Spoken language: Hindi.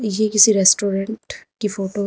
ये किसी रेस्टोरेंट की फोटो --